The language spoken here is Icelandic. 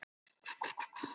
Úr hverju er alheimurinn?